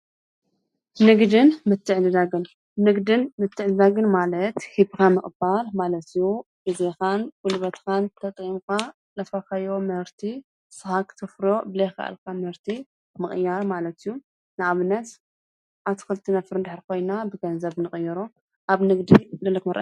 ንግድን ምትዕድዳግን-ንግድን ምትዕድዳግን ማለት ሂብካ ምቕባል ማለት እዩ፡፡ ግዘኻን ጉልበትካን ተጠቒምካ ዘፍረኻዮ ምህርቲ ንስኻ ክተፍርዮ ዘይከኣልካ ምህርቲ ምቕያር ማለት እዩ፡፡ ንኣብነት ኣትክልቲ ነፍርይ እንተኾይንና ብገንዘብ ንቕይሮ፡፡